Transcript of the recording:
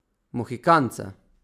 Mohikanca.